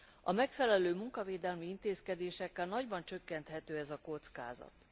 A megfelelő munkavédelmi intézkedésekkel nagyban csökkenthető ez a kockázat.